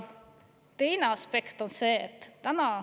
Teine aspekt on see.